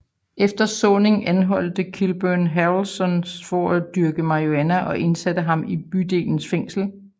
Efter såningen anholdte Kilburn Harrelson for at dyrke marihuana og indsatte ham i bydelens fængsel